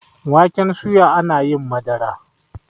waken soya ana yin Madara